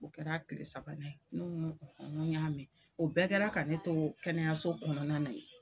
O kɛra tile sabanan ye, ne ko ŋo ŋo n y'a mɛ. O bɛɛ kɛra ka ne to kɛnɛyaso kɔnɔna na ye